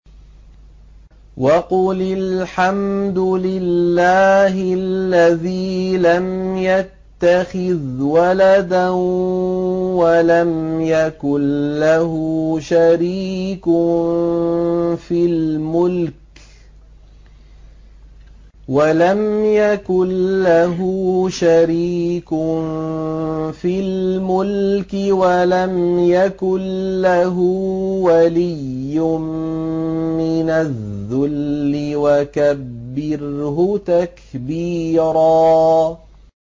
وَقُلِ الْحَمْدُ لِلَّهِ الَّذِي لَمْ يَتَّخِذْ وَلَدًا وَلَمْ يَكُن لَّهُ شَرِيكٌ فِي الْمُلْكِ وَلَمْ يَكُن لَّهُ وَلِيٌّ مِّنَ الذُّلِّ ۖ وَكَبِّرْهُ تَكْبِيرًا